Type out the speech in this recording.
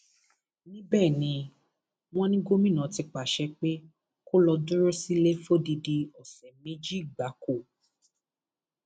níbẹ ni wọn ní gómìnà ti pàṣẹ pé kó lọọ dúró sílẹ fódìdì ọsẹ méjì gbáko